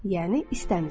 Yəni istəmisiz.